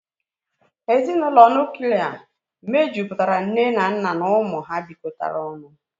Ezinụlọ Nuklia mejupụtara nne na nna na ụmụ ha bịkotara ọnụ